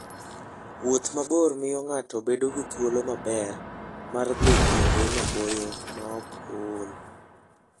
Wuoth mabor miyo ng'ato bedo gi thuolo maber mar dhi kuonde maboyo maok ool.